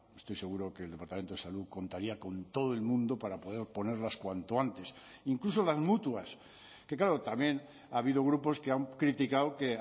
estoy seguro que el departamento de salud contaría con todo el mundo para poder ponerlas cuanto antes incluso las mutuas que claro también ha habido grupos que han criticado que